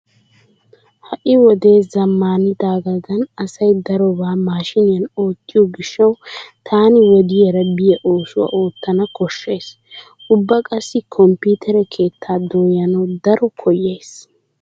Ha"i wode zammaanidaagan asay darobaa maashshiniyan oottiyo gishshawu taani wodiyaara biya oosuwa oottana koshshays. Ubba qassi komppiitere keettaa dooyanawu daro koyyays.